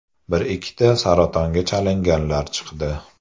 Bir-ikkita saratonga chalinganlar chiqdi.